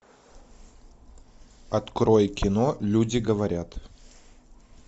открой кино люди говорят